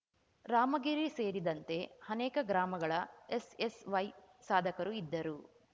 ರಾಮಗಿರಿ ಸೇರಿದಂತೆ ಅನೇಕ ಗ್ರಾಮಗಳ ಎಸ್‌ಎಸ್‌ವೈ ಸಾಧಕರು ಇದ್ದರು